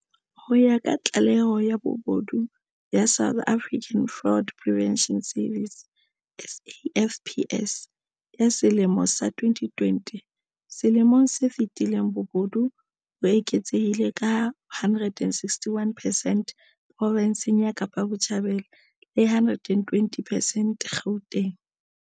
Ho ya ka tlaleho ya bobodu ya South African Fraud Prevention Service SAFPS ya selemo sa 2020, selemong se fetileng bobodu bo eketsehile ka 161 percent provinseng ya Kapa Botjhabela le 120 percent Gauteng.